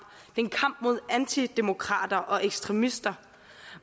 mod antidemokrater og ekstremister